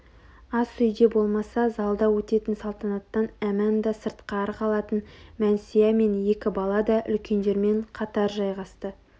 ас үйде болмаса залда өтетін салтанаттан әманда сыртқары қалатын мәнсия мен екі бала да үлкендермен қатар жайғасты